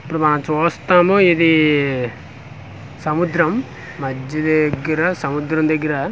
ఇప్పుడు మా చూస్తేను ఇదీ సముద్రం మజ్జి దగ్గిర సముద్రం దగ్గిర వ--